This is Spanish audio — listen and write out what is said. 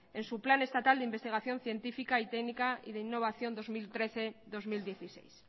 en su plan estatal de investigación científica y técnica y de innovación dos mil trece dos mil dieciséis